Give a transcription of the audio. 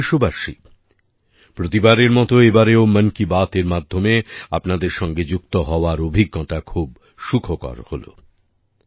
আমার প্রিয় দেশবাসী প্রতিবারের মতো এবারও মন কি বাত এর মাধ্যমে আপনাদের সঙ্গে যুক্ত হওয়ার অভিজ্ঞতা খুব সুখকর হল